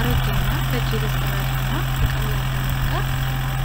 አሮጌ እና በእጅ የተሠራ ጫማ ከቀላል ዳራ ጋር ቀርቧል።